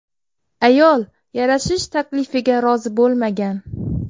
Ayol yarashish taklifiga rozi bo‘lmagan.